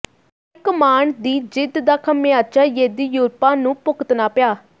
high command ਦੀ ਜ਼ਿੱਦ ਦਾ ਖਾਮਿਆਜ਼ਾ ਯੇਦਿਯੂਰੱਪਾ ਨੂੰ ਭੁਗਤਣਾ ਪਿਆ